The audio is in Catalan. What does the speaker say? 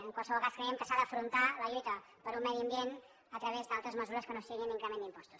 en qualsevol cas creiem que s’ha d’afrontar la lluita per un medi ambient a través d’altres mesures que no siguin increment d’impostos